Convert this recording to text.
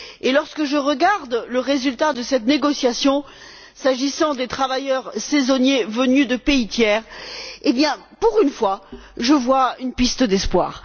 Lorsque je regarde le résultat de cette négociation, s'agissant des travailleurs saisonniers venus de pays tiers, pour une fois je vois une piste d'espoir.